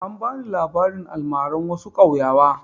An ba ni labarin almaran wasu ƙauyawa.